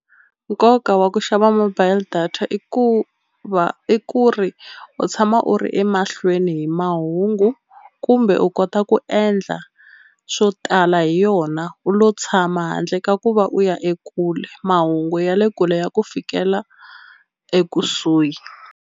Nkoka wa ku xava mobile data i ku va i ku ri u tshama u ri emahlweni hi mahungu kumbe u kota ku endla swo tala hi yona u lo tshama handle ka ku va u ya ekule mahungu ya le kule ya ku fikela ekusuhi.